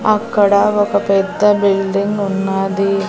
అక్కడ ఒక పెద్ద బిల్డింగ్ ఉన్నాది.